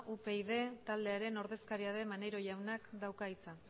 upyd taldearen ordezkaria den maneiro jaunak dauka hitza